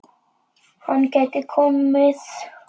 Hann gæti komið